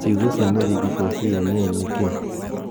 Ciugo cia Mũthingi cia C. N. N. ni niki